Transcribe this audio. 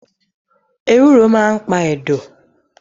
Ewúro maa n pa ẹ̀dọ̀